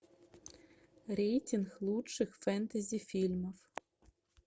рейтинг лучших фэнтези фильмов